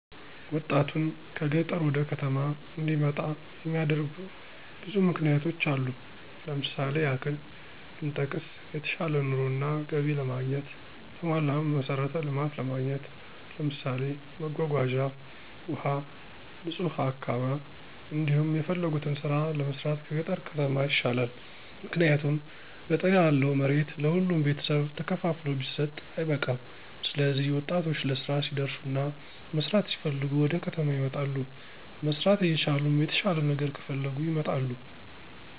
ወጣቱን ከገጠር ወደ ከተማ እንዲመጣ የሚያደርጉ ብዙ ምክንያቶች አሉ። ለምሳሌ ያክል ብንጠቅስ የተሻለ ኑሮ እና ገቢ ለማግኘት፣ የተሟላ መሠረተ ልማት ለማግኘት ለምሳሌ መጓጓዣ፣ ውሀ፣ ንጹህ አካባ፤ እንዲሁም የፈለጉትን ስራ ለመስራት ከገጠር ከተማ ይሻላል። ምክንያቱም ገጠር ያለው መሬት ለሁሉም ቤተሰብ ተከፋፍሎ ቢሰጥ አይበቃም ስለዚህ ወጣቶች ለስራ ሲደርሱና መስራት ሲፈልጉ ወደከተማ ይመጣሉ። መስራት እየቻሉም የተሻለ ነገር ከፈለጉ ይመጣሉ